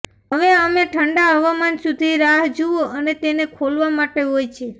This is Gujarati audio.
હવે અમે ઠંડા હવામાન સુધી રાહ જુઓ અને તેને ખોલવા માટે હોય છે